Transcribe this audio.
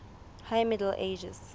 high middle ages